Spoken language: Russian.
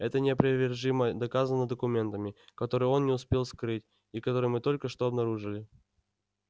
это неопровержимо доказано документами которые он не успел скрыть и которые мы только что обнаружили